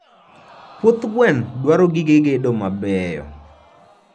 Puoth gweno dwaro gige gedo mabeyo.